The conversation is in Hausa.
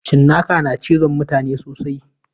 Cinnaka na cizon mutane sosai.